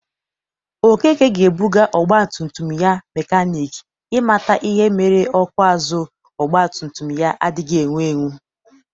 Okeke ga-ebụga ọgbatumtum ya mekanik i mata ihe mere ọkụ azụ ọgbatumtum ya adịghị ewu ewu